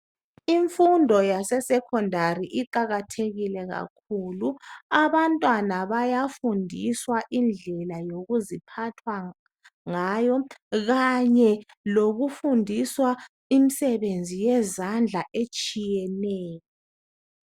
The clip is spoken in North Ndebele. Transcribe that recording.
Imfundo yase secondary iqakathekile kakhulu. Abantwana bayafundiswa indlela yokuziphatha ngayo kanye lokufundiswa imisebenzi yezandla etshiyeneyo.